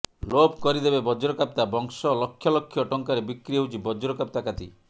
ଲୋପ କରିଦେବେ ବଜ୍ରକାପ୍ତା ବଂଶ ଲକ୍ଷ ଲକ୍ଷ ଟଙ୍କାରେ ବିକ୍ରି ହେଉଛି ବଜ୍ରକାପ୍ତା କାତି